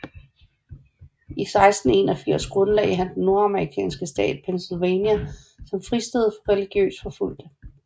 I 1681 grundlagde han den nordamerikanske stat Pennsylvania som fristed for religiøst forfulgte